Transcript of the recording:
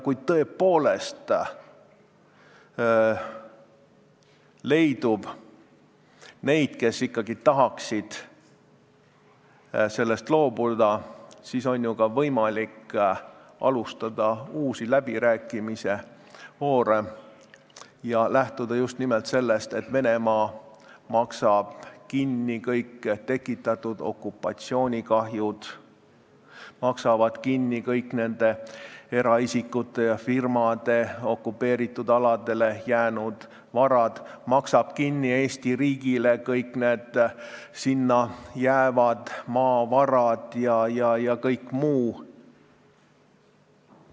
Kui tõepoolest leidub neid, kes ikkagi tahaksid sellest loobuda, siis on ka ju võimalik alustada uusi läbirääkimiste voore, lähtudes just nimelt sellest, et Venemaa maksaks kinni kõik tekitatud okupatsioonikahjud ja kõik eraisikute ja firmade okupeeritud aladele jäänud varad ning maksaks Eesti riigile kinni sinna jäävad maavarad ja kõik muu.